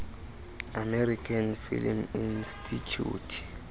american film institute